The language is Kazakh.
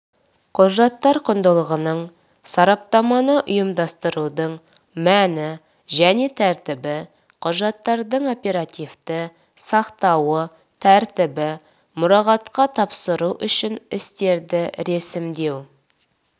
құжаттар құндылығының сараптаманы ұйымдастырудың мәні және тәртібі құжаттардың оперативті сақтауы тәртібі мұрағатқа тапсыру үшін істерді ресімдеу